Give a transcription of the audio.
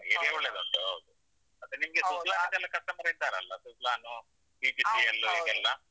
area ಒಳ್ಳೇದು ಉಂಟು ಹೌದು customer ಇದ್ದರಲ್ಲಸುಜ್ಲೋನ್‌, ಯು ಪಿ ಸಿ ಎಲ್ ಯಲ್ಲಿ ಎಲ್ಲಾ